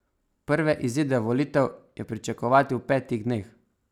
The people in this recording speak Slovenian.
Prve izide volitev je pričakovati v petih dneh.